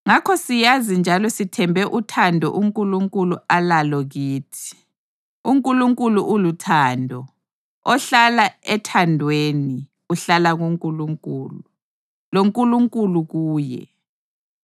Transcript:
Ngakho siyazi njalo sithembe uthando uNkulunkulu alalo kithi. UNkulunkulu uluthando. Ohlala ethandweni, uhlala kuNkulunkulu, loNkulunkulu kuye.